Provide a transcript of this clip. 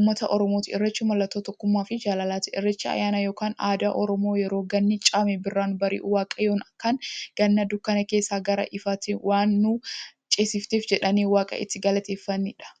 ummata Oromooti. Irreechi mallattoo tokkummaafi jaalalaati. Irreechi ayyaana yookiin aadaa Oromoo yeroo ganni caamee birraan bari'u, waaqayyoon kan Ganna dukkana keessaa gara ifaatti waan nu ceesifteef jedhanii waaqa itti galateeffataniidha.